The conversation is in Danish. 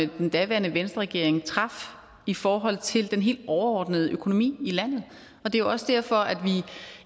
den daværende venstreregering traf i forhold til den helt overordnede økonomi i landet og det er også derfor at